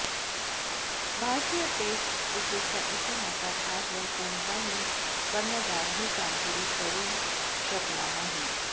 भारतीय टेस्ट क्रिकेटच्या इतिहासात आजवर कोणताही कर्णधार ही कामगिरी करून शकला नाही